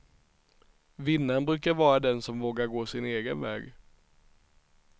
Vinnaren brukar ju vara den som vågar gå sin egen väg.